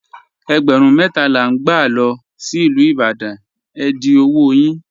Ègbérún mẹta la n gbà lọ sí Ilú Ìbàdàn, è dì ọwọ́ yín.